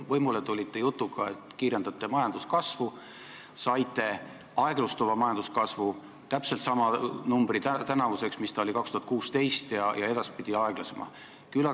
Võimule tulite jutuga, et kiirendate majanduskasvu, saite aeglustuva majanduskasvu, õigemini täpselt sama numbri tänavuseks, mis oli aastal 2016, ja edaspidi aeglasema.